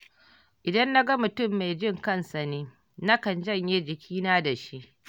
Idan na ga mutam mai jin kansa ne, nakan janye jikina da shi.